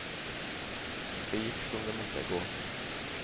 Det gikk som det måtte gå.